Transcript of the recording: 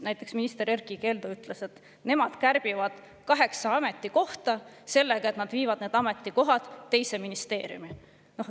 Näiteks minister Erkki Keldo ütles, et nemad kärbivad kaheksa ametikohta sellega, et nad viivad need ametikohad teise ministeeriumi.